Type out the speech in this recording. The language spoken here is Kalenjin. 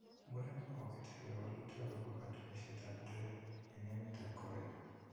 Murenik kokokitepen walutik akopa katunishet ap Dre en emet ap korea.